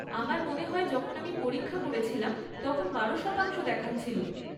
আমার মনে হয় যখন আমি পরীক্ষা করেছিলাম তখন বারো শতাংশ দেখাচ্ছিল।